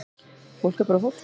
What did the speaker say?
Fólk er bara fólk